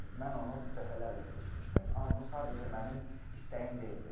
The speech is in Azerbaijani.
Mən onu dəfələrlə seçmişdim, amma bu sadəcə mənim istəyim deyildi.